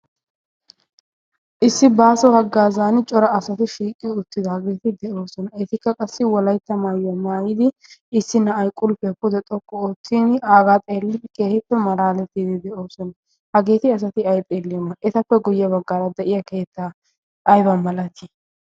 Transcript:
issi baaso haggaazaani cora asati shiiqiyo uttida hageeti de'oosona. eetikka qassi wolaytta maayyo maayidi issi na'ay qulpiya pude xokku oottin aagaa xeellii keehippe maraalettiidi de'oosona. hageeti asati ay xeellioma etappe guyye baggaara de'iya keettaa ayba malatii?